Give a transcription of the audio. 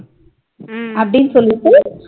அப்டினு சொல்லிட்டு